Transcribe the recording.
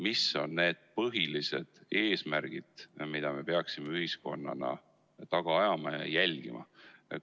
Mis on need põhilised eesmärgid, mida me peaksime ühiskonnana taga ajama ja jälgima?